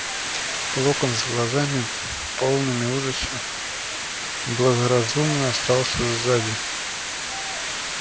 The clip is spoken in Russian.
локонс с глазами полными ужаса благоразумно остался сзади